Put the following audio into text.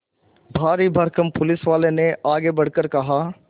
भारीभरकम पुलिसवाले ने आगे बढ़कर कहा